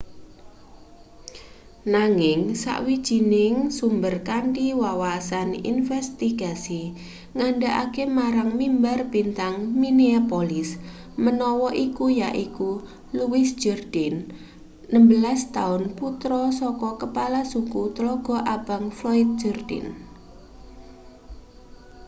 nanging sawijining sumber kanthi wawasan investigasi ngandhakake marang mimbar-bintang minneapolis menawa iku yaiku louis jourdain 16 taun putra saka kepala suku tlaga abang floyd jourdain